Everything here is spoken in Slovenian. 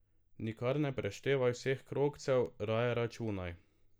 Nikar ne preštevaj vseh krogcev, raje računaj.